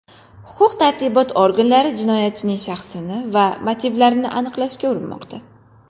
Huquq-tartibot organlari jinoyatchining shaxsini va motivlarini aniqlashga urinmoqda.